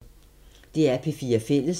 DR P4 Fælles